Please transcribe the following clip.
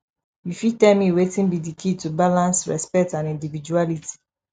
you fit tell me wetin be di key to balance respect and individuality